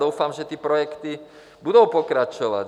Doufám, že ty projekty budou pokračovat.